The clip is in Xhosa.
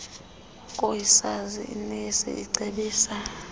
koosiyazi inesi icebisa